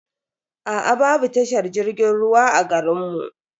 Aa babu tashar jirgin ruwa a garin mu.